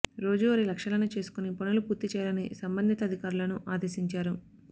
రోజూ వారీ లక్ష్యాలను చేసుకుని పనులు పూర్తి చేయాలని సంబంధిత అధికారులను ఆదేశించారు